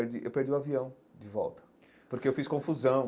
E eu perdi perdi o avião de volta, porque eu fiz confusão.